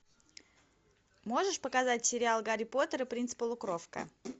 можешь показать сериал гарри поттер и принц полукровка